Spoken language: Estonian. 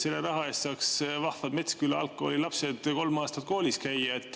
Selle raha eest saaks vahvad Metsküla Algkooli lapsed kolm aastat koolis käia.